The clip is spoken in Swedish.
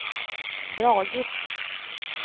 dragit